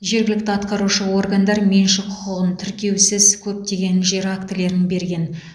жергілікті атқарушы органдар меншік құқығын тіркеусіз көптеген жер актілерін берген